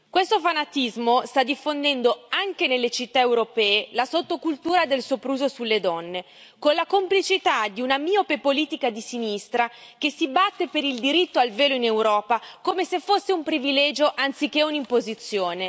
Questo fanatismo sta diffondendo anche nelle città europee la sottocultura del sopruso sulle donne, con la complicità di una miope politica di sinistra che si batte per il diritto al velo in Europa come se fosse un privilegio anziché un'imposizione.